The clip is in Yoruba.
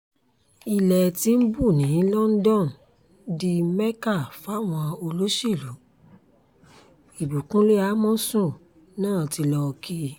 ilẹ̀ tìǹbù ní london di mẹ́ka fáwọn olóṣèlú ìbíkúnlẹ̀ amọ̀sùn náà tí lọ́ọ́ kí i